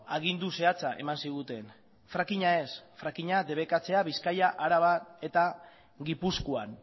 agindu zehatza eman ziguten frackinga ez frackinga debekatzea bizkaia araba eta gipuzkoan